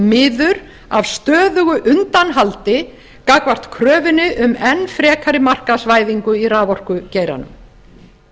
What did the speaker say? miður af stöðugu undanhaldi gagnvart kröfunni um enn frekari markaðsvæðingu í raforkugeiranum